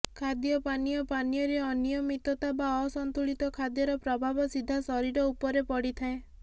ଖାଦ୍ୟପାନୀୟ ପାନୀୟରେ ଅନିୟମିତତା ବା ଅସନ୍ତୁଳିତ ଖାଦ୍ୟର ପ୍ରଭାବ ସିଧା ଶରୀର ଉପରେ ପଡିଥାଏ